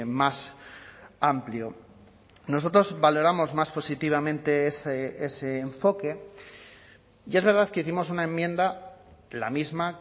más amplio nosotros valoramos más positivamente ese enfoque y es verdad que hicimos una enmienda la misma